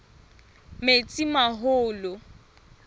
metsimaholo